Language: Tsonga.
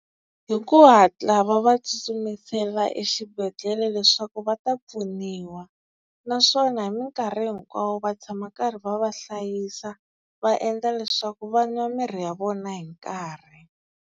Hi ku hatla va va tsutsumisela exibedhlele leswaku va ta pfuniwa. Naswona hi minkarhi hinkwawo va tshama karhi va va hlayisa va endla leswaku va nwa mirhi ya vona hi nkarhi.